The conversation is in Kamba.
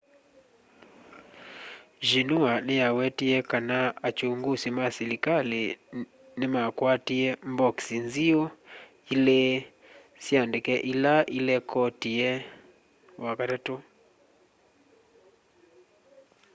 xinhua niyawetie kana akyungusi ma silikali nimakwatie mbokisi nziu” ilî sya ndeke ila ilekotia wakatatu